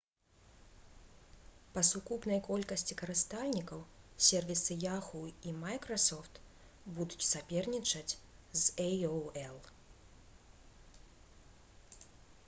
па сукупнай колькасці карыстальнікаў сервісы yahoo і microsoft будуць сапернічаць з aol